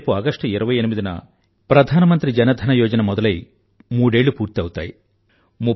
రేపు ఆగష్టు 28 న ఈ ప్రధానమంత్రి జన ధన యొజన మొదలై మూడేళ్ళు పూర్తి అవుతాయి